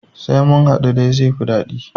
Sai munhaɗu dai zaifi daɗi